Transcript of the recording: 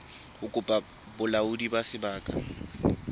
ho kopa bolaodi ba sebaka